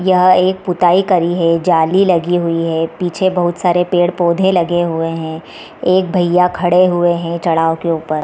यह एक पुताई करी है जाली लगी हुई है पीछे बहुत सारे पेड़-पौधे लगे हुए हैं एक भैया खड़े हुए है चढ़ा के ऊपर।